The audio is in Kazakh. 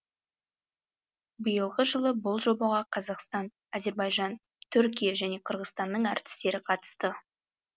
биылғы жылы бұл жобаға қазақстан әзербайжан түркия және қырғызстанның әртістері қатысты